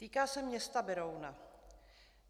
Týká se města Berouna.